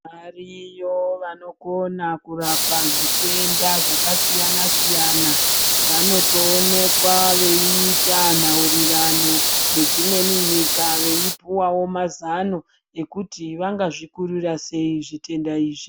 Variyo vanokona kurapa zvitenda zvakasiyana siyana vanotoonekwa veiita nhaurirano nedzimweni nyika veipuwawo mazano ekuti vangazvikurira sei zvitenda izvi.